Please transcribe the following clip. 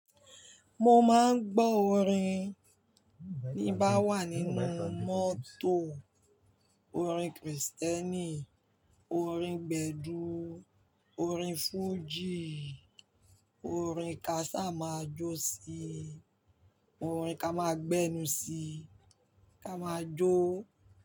Mo máa ń gbọ́ orin bí m bá wà nínú mọ́tò. Orin Krìstẹ́nì, orin gbedu, orin fújì, orin kaṣá máa jó sí i, orin ká máa gbẹ́nu sí i, ká máa jó.